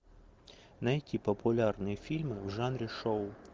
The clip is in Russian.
найти популярные фильмы в жанре шоу